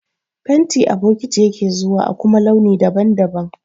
Fenti a bokiti yake zuwa a kuma launi daban-daban.